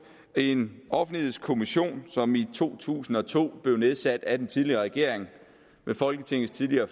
en offentlighedskommission som i to tusind og to blev nedsat af den tidligere regering med folketingets tidligere